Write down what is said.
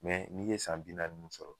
n'i ye san bina nunnu sɔrɔ